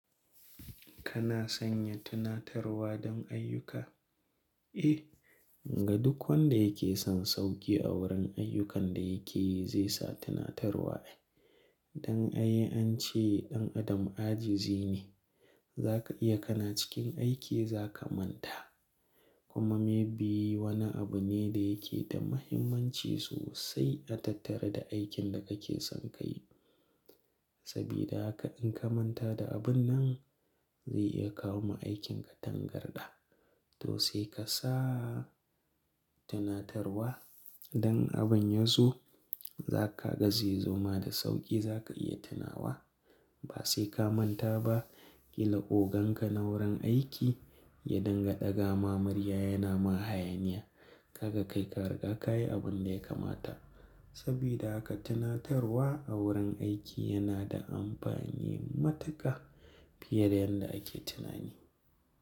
Kana sanya tunatarwa don ayyuka? Eh, ga duk wanda yake son sauƙi a wurin ayyukan da yake yi zai sa tunatarwa. Don ai an ce ɗan adam ajizi ne. Zaka iya kana cikin aiki za ka manta. Kuma maybe wani abu ne da yake da muhimmanci sosai a tattare da aikin da kake son ka yi. Sabida haka in ka manta da abun nan zai iya kawo ma aikinka tangarɗa. To sai ka sa tunatarwa idan abin ya zo, za ka ga zai zo ma da sauƙi za ka iya tunawa. Ba sai ka manta ba, ƙila oganka na wurin aiki ya dinga ɗaga ma murya yana ma hayaniya. Kaga kai ka riga ka yi abun da ya kamata. Sabida haka tunatarwa a wurin aiki yana da amfani matuƙa fiye da yadda ake tunani.